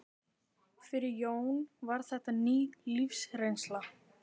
Fyrir Jóni var þetta ný lífsreynsla.